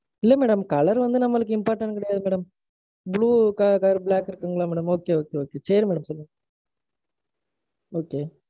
இல்ல madam. colour வந்து நம்மளுக்கு important கிடையாது madam. Blue colour, black colour இருக்குங்களா madam? Okay, okay, okay. சரி madam. சரி madam. Okay